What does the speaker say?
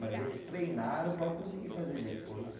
Mas eles treinaram para conseguir fazer depois.